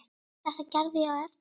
Þetta gerði ég eftir mætti.